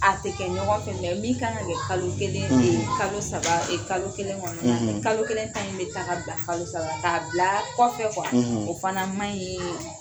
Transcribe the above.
A tɛ kɛ ɲɔgɔn fɛ min kan ka kɛ kalo kelen e kalo saba kalo kelen kɔnɔna na kalo kelen ta in bɛ ta k'a bila kalo saba k'a bila kɔfɛ wa o fana man ɲi